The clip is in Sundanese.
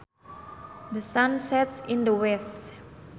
The sun sets in the west